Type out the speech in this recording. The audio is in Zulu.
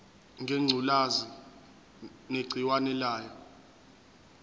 ngengculazi negciwane layo